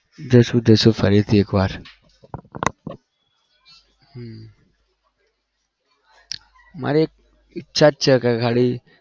જશું જશું ફરીથી એકવાર હમ મારે ઇચ્છા છે કે ખાલી